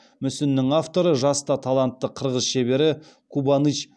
мүсіннің авторы жас та талантты қырғыз шебері кубаныч